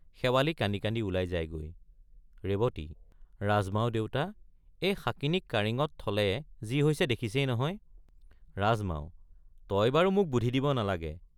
শেৱালি কান্দি কান্দি ওলাই যাইগৈ ৰেৱতী— ৰাজমাও দেউতা—এই শাঁকিনীক কাৰেঙত থলে যি হৈছে দেখিছেই নহয়— ৰাজমাও— তই বাৰু মোক বুধি দিব নালাগে।